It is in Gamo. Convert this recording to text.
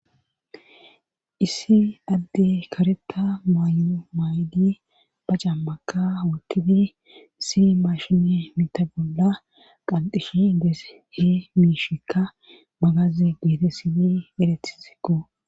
issi adde kareta mayu may7di ba cammaka wutifi si maashine mita bolla qalxishi dees he miishikka magaze geete sibi erethizikko